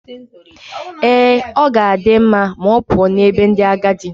Ee, ọ ga-adị mma ma ọ pụọ n'ebe ndị agadi.